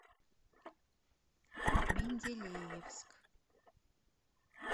менделеевск